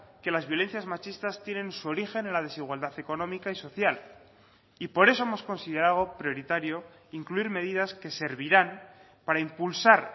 que las violencias machistas tienen su origen en la desigualdad económica y social y por eso hemos considerado prioritario incluir medidas que servirán para impulsar